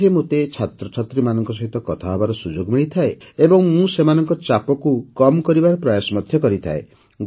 ଏଥିରେ ମୋତେ ଛାତ୍ରଛାତ୍ରୀମାନଙ୍କ ସହିତ କଥା ହେବାର ସୁଯୋଗ ମିଳିଥାଏ ଏବଂ ମୁଁ ସେମାନଙ୍କର ଚାପକୁ କମ୍ କରିବାର ପ୍ରୟାସ ମଧ୍ୟ କରିଥାଏ